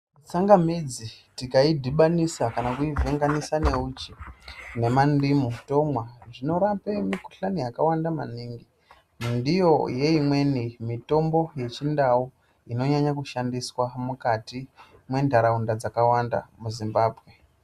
Tsangamidzi tikaidhibanisa kana kuivhenganisa neuchi nemandimu tomwa zvinorape mukuhlani yakawanda maningi ndiyo yeimweni mitombo yechindau inonyanya kushandiswa mukati mwenharaunda dzakawanda muZimbabwe.